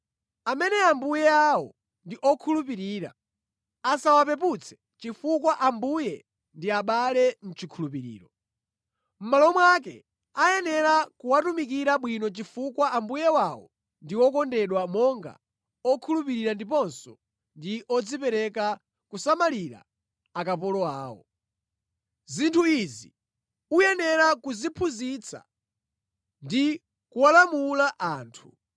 Amene ambuye awo ndi okhulupirira, asawapeputse chifukwa ambuye ndi abale mʼchikhulupiriro. Mʼmalo mwake akuyenera kuwatumikira bwino chifukwa ambuye wawo ndi okondedwa monga okhulupirira ndiponso ndi odzipereka kusamalira akapolo awo. Aphunzitsi Onyenga ndi Kukonda Ndalama Zinthu izi ukuyenera kuziphunzitsa ndi kuwalamula anthu.